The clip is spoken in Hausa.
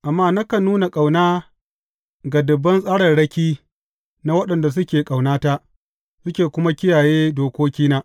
Amma nakan nuna ƙauna ga dubban tsararraki na waɗanda suke ƙaunata, suke kuma kiyaye dokokina.